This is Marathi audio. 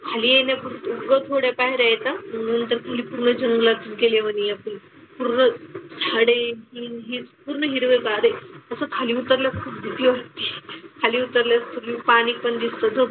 खाली येण्यापुरतं थोड्या पायऱ्या आहेत आणि नंतर खाली पूर्ण जंगलातने गेल्या वाणी आपण पूर्ण झाडे ते आणि हे पूर्ण हिरवंगार आहे. तसं खाली उतरलं का भीती वाटते. खाली उतरलं कि पाणी पण दिसतं.